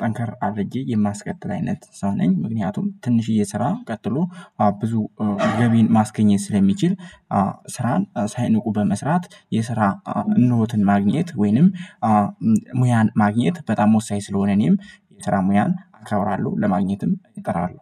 ጠንከር አድርጌ የማስቀጥል አይነት ሰው ነኝ። ምክንያቱም ትንሽዬ ስራ ቀጥሎ ብዙ ገቢን ማስገኘት ስለሚችል። ስራን ሳይንቁ በመስራት የስራ እነሆትን ማግኘት ወይንም ሙያን ማግኘት በጣም ወሳኝ ስለሆነ። እኔም የስራ ሙያን አከብራለሁ ለማግኘትም እጥራለሁ